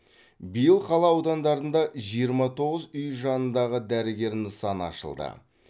биыл қала аудандарында жиырма тоғыз үй жанындағы дәрігер нысаны ашылды